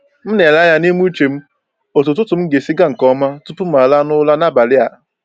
M na-ele anya n’ime uche m otú ụtụtụ m ga-esi gaa nke ọma tupu m laa n’ụra n’abalị a.